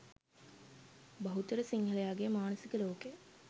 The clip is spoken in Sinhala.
බහුතර සිංහලයාගේ මානසික ලෝකය